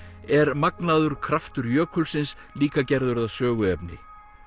er magnaður kraftur jökulsins líka gerður að söguefni